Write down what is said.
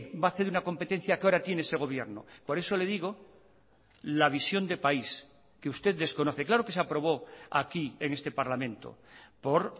va a hacer una competencia que ahora tiene ese gobierno por eso le digo la visión de país que usted desconoce claro que se aprobó aquí en este parlamento por